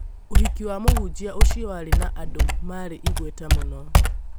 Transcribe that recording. Ũhiki wa mũhunjia ũcio warĩ na andũ marĩ igweta mũno